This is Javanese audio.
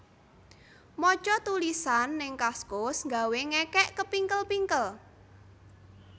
Moco tulisan ning Kaskus nggawe ngekek kepingkel pingkel